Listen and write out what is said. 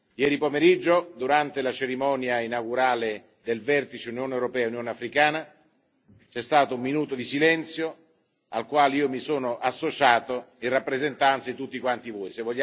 Ieri pomeriggio, durante la cerimonia inaugurale del vertice Unione europea Unione africana c'è stato un minuto di silenzio, al quale io mi sono associato in rappresentanza di tutti quanti voi.